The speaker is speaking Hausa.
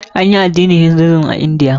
Anyi addinin Hinduism a Indiya.